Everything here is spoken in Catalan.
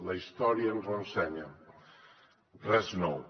la història ens ho ensenya res de nou